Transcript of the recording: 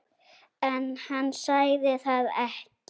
En hann sagði það ekki.